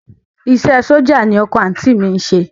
Iṣẹ́ ẹ sójà ni ọkọ àǹtí mi ń ṣe